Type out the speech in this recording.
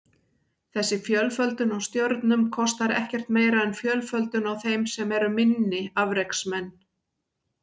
Þessi fjölföldun á stjörnum kostar ekkert meira en fjölföldun á þeim sem eru minni afreksmenn.